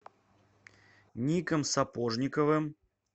ником сапожниковым